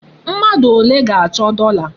Mmadụ ole ga-achọ dọla?